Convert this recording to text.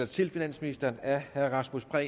til finansministeren af herre rasmus prehn